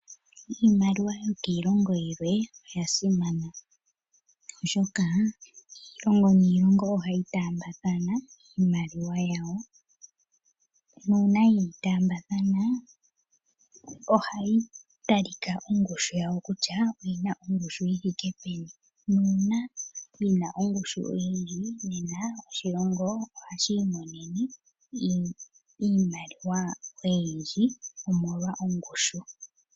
Iimaliwa yokiilongo yilwe oyasimana, oshoka iilongo niilongo ohayi taambathana iimaliwa yawo na uuna yeyi taambathana ohayi talika ongushu yawo kutya oyina ongushu yithike peni, na uuna yina ongushu oyindji nena oshilongo ohashi iimonene iimaliwa oyindji omolwa ongushu.